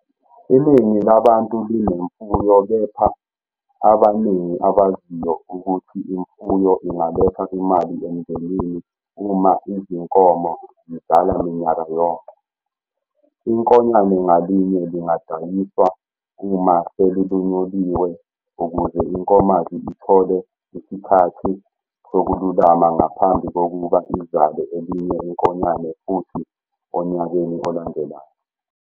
Iningi labantu linemfuyo, kepha ababaningi abaziyo ukuthi imfuyo ingaletha imali emndenini uma izinkomo zizala minyaka yonke. Inkonyane ngalinye lingadayiswa uma selilunyuliwe ukuze inkomazi ithole isikhathi sokululama ngaphambi kokuba izale elinye inkonyane futhi onyakeni olandelayo.